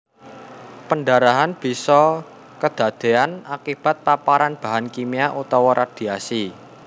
Pendarahan bisa kedadéyan akibat paparan bahan kimia utawa radhiasi